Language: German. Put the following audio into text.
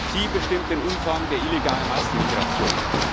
Sie bestimmt den Umfang der illegalen Massenmigration.